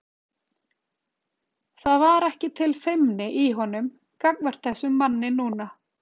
Það var ekki til feimni í honum gagnvart þessum manni núna.